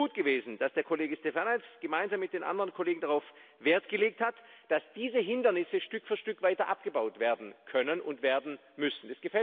Deswegen ist es gut gewesen, dass der Kollege Štefanec gemeinsam mit den anderen Kollegen darauf Wert gelegt hat, dass diese Hindernisse Stück für Stück weiter abgebaut werden können und werden müssen.